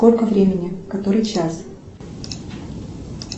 сколько времени который час